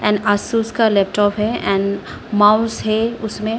And Asus का laptop है and mouse है उसमें।